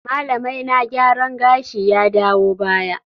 Malamaina gyaran gashi ya dawo baya